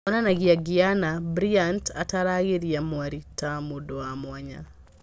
Onanagia Gianna , Bryant ataaragĩria mwarĩ ta mũndũ wa mwanya